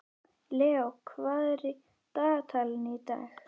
Leó, hvað er í dagatalinu í dag?